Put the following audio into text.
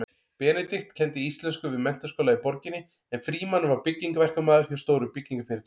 Benedikt kenndi íslensku við menntaskóla í borginni en Frímann var byggingaverkamaður hjá stóru byggingarfyrirtæki.